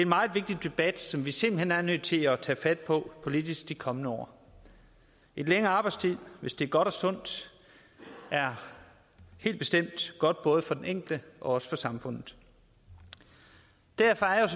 meget vigtig debat som vi simpelt hen er nødt til at tage fat på politisk de kommende år et længere arbejdsliv hvis det er godt og sundt er helt bestemt godt både for den enkelte og også for samfundet derfor er jeg